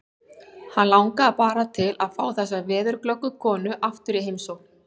Hann langar bara til að fá þessa veðurglöggu konu aftur í heimsókn.